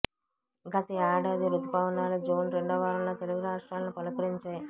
గత ఏడాది రుతుపవనాలు జూన్ రెండో వారంలో తెలుగు రాష్ట్రాలను పలుకరించాయి